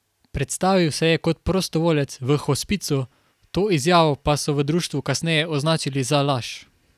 Predstavil se je kot prostovoljec v hospicu, to izjavo pa so v društvu kasneje označili za laž.